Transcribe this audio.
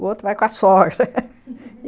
O outro vai com a sogra